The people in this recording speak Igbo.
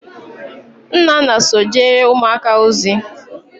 Nnanna so jere umuaka ozi